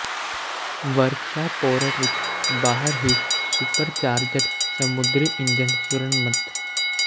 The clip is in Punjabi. ਵਰਕਸ਼ਾਪ ਪੋਰਟ ਵਿੱਚ ਬਾਹਰ ਹੀ ਸੁਪਰਚਾਰਜਡ ਸਮੁੰਦਰੀ ਇੰਜਣ ਮੁਰੰਮਤ